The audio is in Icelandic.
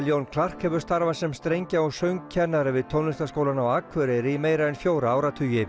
Jón Clarke hefur starfað sem strengja og söngkennari við Tónlistarskólann á Akureyri í meira en fjóra áratugi